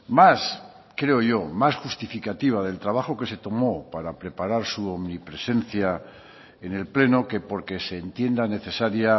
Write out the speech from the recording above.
más creo yo más justificativa del trabajo que se tomó para preparar su omnipresencia en el pleno que porque se entienda necesaria